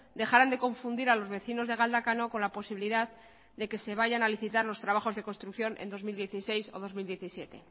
dejaran de confundir a los vecinos de galdakano con la posibilidad de que se vayan a licitar los trabajos de construcción en dos mil dieciséis o bi mila hamazazpi